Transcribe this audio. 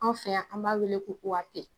An fɛ yan b'a weele ko